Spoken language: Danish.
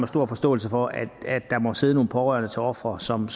stor forståelse for at der må sidde nogle pårørende til ofre som